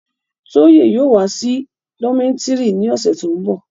Toye yóò wa si dometiri ni ọsẹ to nbọ